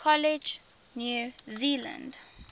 college new zealand